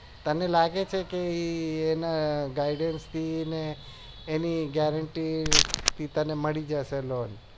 તને લાગે છે કે એના gaiders થી અને એની guarantee થી તને મળી જશે loan